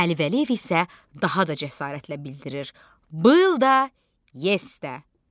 Əli Vəliyev isə daha da cəsarətlə bildirir: Bil də, yes də.